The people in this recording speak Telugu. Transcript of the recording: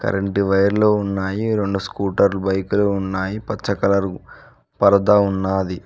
రెండు వైర్లు ఉన్నాయి రెండు స్కూటర్ బైక్ లు ఉన్నాయి పచ్చ కలర్ పరద ఉన్నాది.